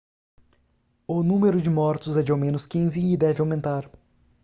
o número de mortos é de ao menos 15 e deve aumentar